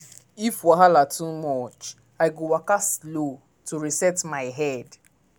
if wahala too much i go waka slow to reset my head.